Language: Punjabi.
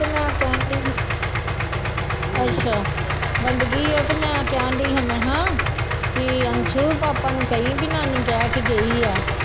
ਤੇ ਮੈਂ ਕਹਿਣਡੀ ਅੱਛਾ ਬੰਦਗੀ ਹੈ ਤੇ ਮੈਂ ਕਹਿਣ ਡਹੀ ਹਾਂ ਮੈਂ ਕਿਹਾ ਵੀ ਅੰਸੂ ਪਾਪਾ ਨੂੰ ਕਹੀਂ ਵੀ ਨਾਨੀ ਕਹਿ ਕੇ ਗਈ ਆ,